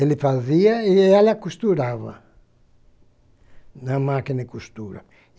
Ele fazia e ela costurava na máquina de costura.